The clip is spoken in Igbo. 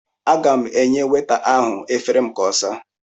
Aga m enye weta ahụ efere m ka ọ saa.